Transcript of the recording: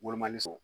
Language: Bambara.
Wolomali sɔn